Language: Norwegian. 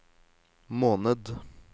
måned